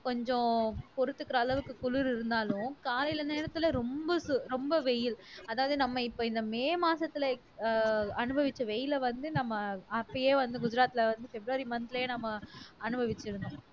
கொஞ்சம் பொறுத்துக்கிற அளவுக்கு குளிர் இருந்தாலும் காலையில நேரத்துல ரொம்ப சு ரொம்ப வெயில் அதாவது நம்ம இப்ப இந்த மே மாசத்துல ஆஹ் அனுபவிச்ச வெயிலை வந்து நம்ம அப்பயே வந்து குஜராத்தில வந்து பிப்ரவரி month லயே நாம அனுபவிச்சிருப்போம்